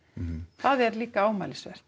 það er líka ámælisvert